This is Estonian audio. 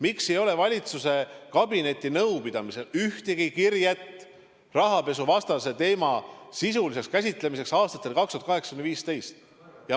Miks ei ole valitsuse kabinetinõupidamiselt ühtegi kirjet, et aastatel 2008–2015 käsitleti rahapesuteemat sisuliselt?